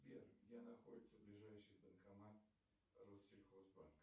сбер где находится ближайший банкомат россельхозбанк